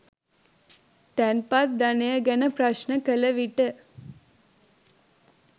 තැන්පත් ධනය ගැන ප්‍රශ්න කළ විට